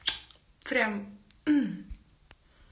прям